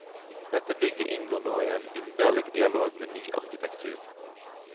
Dette bygget inngår nå i en underlig dialog med ny arkitektur.